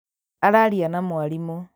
Araria na mwarimũ